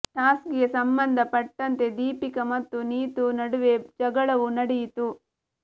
task ಗೆ ಸಂಬಂಧ ಪಟ್ಟಂತೆ ದೀಪಿಕಾ ಮತ್ತು ನೀತೂ ನಡುವೆ ಜಗಳವೂ ನಡೆಯಿತು